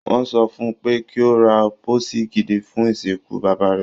Wọ́n sọ fun pé kí ó ra pósí gidi fún ìsìnkú bàbá rẹ̀.